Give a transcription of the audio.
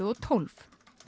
og tólf